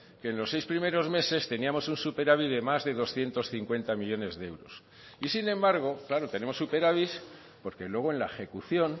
que en los seis primeros meses teníamos un superávit de más de doscientos cincuenta millónes de euros y sin embargo claro tenemos superávit porque luego en la ejecución